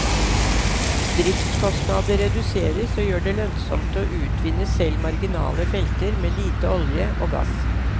Driftskostnader reduseres og gjør det lønnsomt å utvinne selv marginale felter med lite olje og gass.